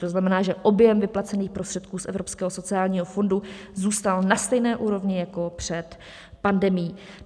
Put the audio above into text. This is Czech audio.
To znamená, že objem vyplacených prostředků z Evropského sociálního fondu zůstal na stejné úrovni jako před pandemií.